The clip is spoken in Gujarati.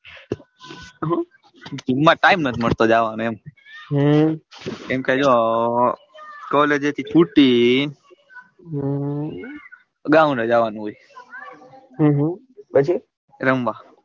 જિમ માં time નથ મળતો જવાનો એમ હમ એમ કરીને collage એ છૂટીને હમ ground એ જવાનું હોય હમ પછી રમવા,